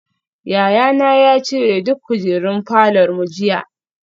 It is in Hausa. Yayana ya cire duk kujerun falor mu jiya